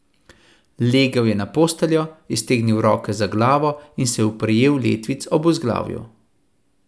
Legel je na posteljo, iztegnil roke za glavo in se oprijel letvic ob vzglavju.